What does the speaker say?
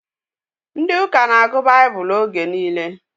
Ndị ụka na-agụ baibulu oge nile